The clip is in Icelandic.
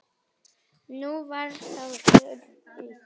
Nú var það Þuríður mín.